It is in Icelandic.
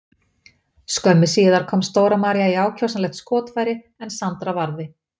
Skömmu síðar komst Dóra María í ákjósanlegt skotfæri en Sandra varði.